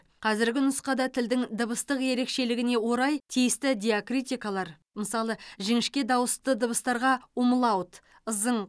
қазіргі нұсқада тілдің дыбыстық ерекшелігіне орай тиісті диакритикалар мысалы жіңішке дауысты дыбыстарға умлаут ызың